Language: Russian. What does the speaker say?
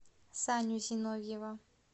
саню зиновьева